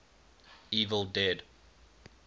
evil dead